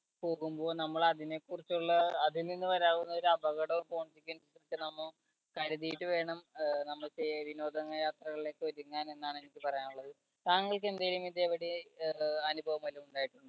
പോകുമ്പോൾ നമ്മൾ അതിനെക്കുറിച്ചുള്ള അതിൽ നിന്ന് വരാവുന്ന ഒരു അപകടം നമ്മ കരുതിയിട്ട് വേണം നമ്മൾ ചെ വിനോദയാത്രകളിലേക്ക് ഒരുങ്ങാൻ എന്നാണ് എനിക്ക് പറയാനുള്ളത്. താങ്കൾക്ക് എന്തെങ്കിലും ഇതെപടി അഹ് അനുഭവം വല്ലതും ഉണ്ടായിട്ടുണ്ടോ?